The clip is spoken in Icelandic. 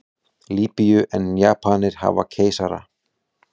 Lýbíu en Japanir hafa keisara.